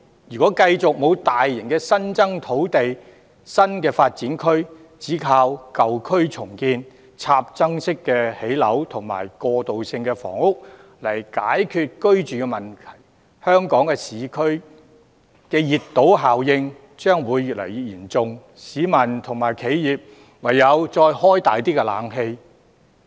如果繼續沒有大型的新增土地及新發展區，只靠舊區重建、興建"插針樓"及過渡性房屋來解決居住問題，香港市區的熱島效應將會越來越嚴重，市民及企業唯有把冷氣的溫度再調低些。